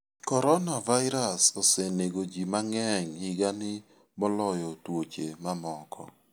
Coronavirus osenego ji mang'eny higani moloyo tuoche mamoko.